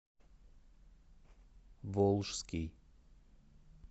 волжский